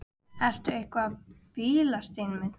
Sumir bjóða vín eða dóp í staðinn fyrir peninga.